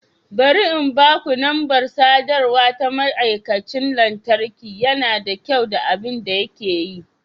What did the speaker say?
Bari in baku lambar sadarwa ta ma'aikacin lantarki, yana da kyau da abin da yake yi.